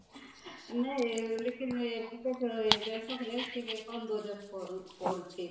ନାଇଁ ଖେଳରେ bangkok ରେଟିକେ କମ Budget ପଡୁଛି